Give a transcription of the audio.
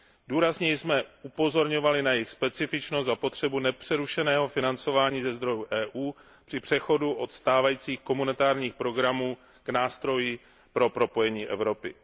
Důrazně jsme upozorňovali na jejich specifičnost a potřebu nepřerušeného financování ze zdrojů Evropské unie při přechodu od stávajících komunitárních programů k nástroji pro propojení Evropy.